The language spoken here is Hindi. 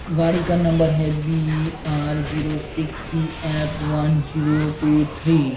गाड़ी का नंबर है B R zero six P F one zero two three.